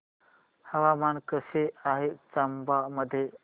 हवामान कसे आहे चंबा मध्ये